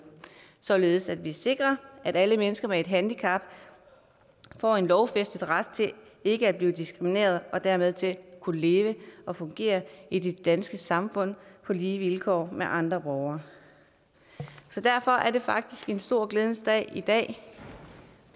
således at vi sikrer at alle mennesker med et handicap får en lovfæstet ret til ikke at blive diskrimineret og dermed til at kunne leve og fungere i det danske samfund på lige vilkår med andre borgere derfor er det faktisk en stor glædens dag i dag